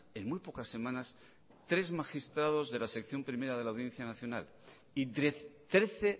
en muy pocas semanas tres magistrados de la sección primera de la audiencia nacional y trece